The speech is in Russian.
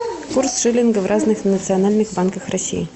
курс шиллинга в разных национальных банках россии